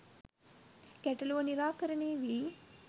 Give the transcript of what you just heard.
ගැටලුව නිරාකරණය වී